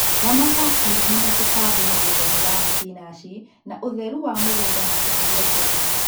Ramata mĩrimũ na tũtambi mũgundainĩ wa thibinachi na ũtheru wa mũgũnda na kũheria tene